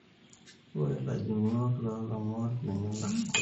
ore lajungok lo lomon nemelak kodi.